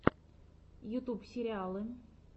ютуб сериалы